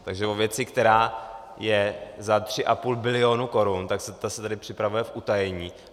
Takže o věci, která je za 3,5 bilionu korun, ta se tady připravuje v utajení.